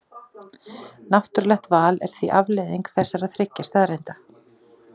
Náttúrlegt val er því afleiðing þessara þriggja staðreynda.